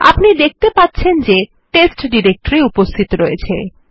আপনি দেখতে পাচ্ছেন যে টেস্ট ডিরেক্টরি উপস্থিত রয়েছে